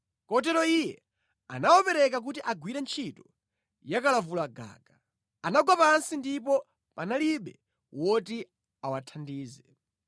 Kotero Iye anawapereka kuti agwire ntchito yakalavulagaga; anagwa pansi ndipo panalibe woti awathandize.